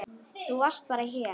Þú varst bara hér.